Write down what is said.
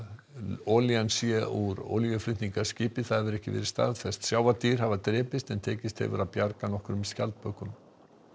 olían sé úr olíuflutningaskipi það hefur þó ekki verið staðfest sjávardýr hafa drepist en tekist hefur að bjarga nokkrum skjaldbökum